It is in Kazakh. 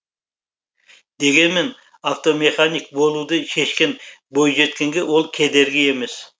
дегенмен автомеханик болуды шешкен бойжеткенге ол кедергі емес